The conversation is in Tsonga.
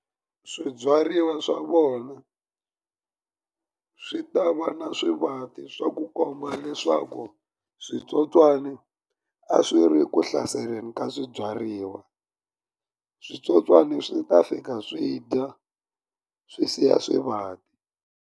Swibyariwa swa kona swi ta va na swivati swa ku komba leswaku switsotswani a swi ri ku hlaseleni ka swibyariwa switsotswana swi ta fika swi dya swi siya swivati.